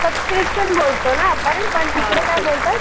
Subscription बोलतो ना आपण? पण तिकडे काय बोलतात?